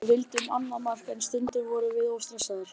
Við vildum annað mark en stundum vorum við of stressaðir.